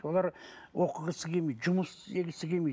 олар оқығысы келмейді жұмыс істегісі келмейді